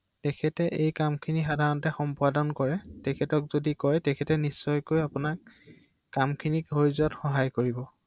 হয়